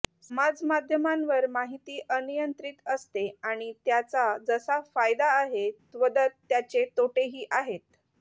समाजमाध्यमांवर माहिती अनियंत्रित असते आणि त्याचा जसा फायदा आहे तद्वत त्याचे तोटेही आहेत